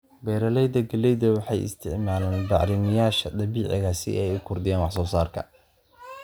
Beeralayda galleyda waxay isticmaalaan bacrimiyeyaasha dabiiciga ah si ay u kordhiyaan wax soo saarka.